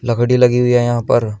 लकड़ी लगी हुई है यहां पर।